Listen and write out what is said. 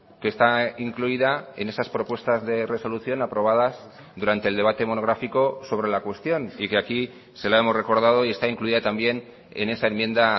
que está incluida en esas propuestas de resolución aprobadas durante el debate monográfico sobre la cuestión y que aquí se la hemos recordado y está incluida también en esa enmienda